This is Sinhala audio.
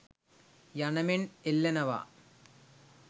යන මෙන් එල්ලනවා